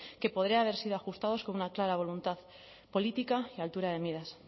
que podrían haber sido ajustados con una clara voluntad política y altura de miras